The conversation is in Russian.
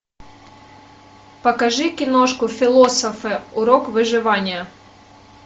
покажи киношку философы урок выживания